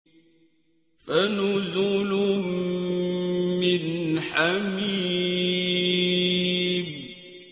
فَنُزُلٌ مِّنْ حَمِيمٍ